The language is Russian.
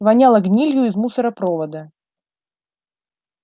воняло гнилью из мусоропровода